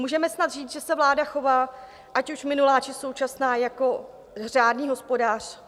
Můžeme snad říct, že se vláda chová, ať už minulá, či současná, jako řádný hospodář?